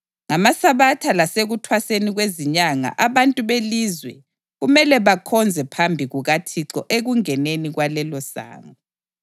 NgamaSabatha lasekuThwaseni kweziNyanga abantu belizwe kumele bakhonze phambi kukaThixo ekungeneni kwalelosango.